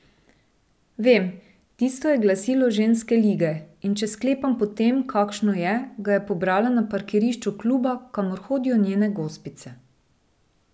Vem, tisto je glasilo ženske lige, in če sklepam po tem, kakšno je, ga je pobrala na parkirišču kluba, kamor hodijo njene gospice.